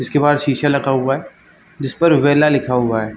जिसके बाहर शीशा लगा हुआ है जिस पर वेला लिखा हुआ हैं।